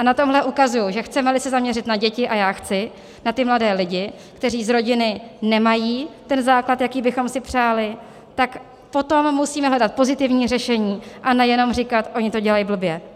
A na tomhle ukazuji, že chceme-li se zaměřit na děti, a já chci, na ty mladé lidi, kteří z rodiny nemají ten základ, jaký bychom si přáli, tak potom musíme hledat pozitivní řešení a nejenom říkat: oni to dělají blbě.